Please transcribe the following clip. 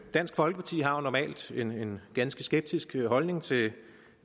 dansk folkeparti har jo normalt en ganske skeptisk holdning til